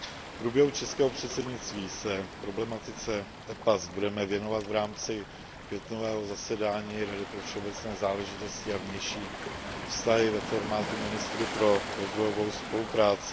V průběhu českého předsednictví se problematice dohod EPA budeme věnovat v rámci květnového zasedání Rady pro všeobecné záležitosti a vnější vztahy ve formátu ministrů pro rozvojovou spolupráci.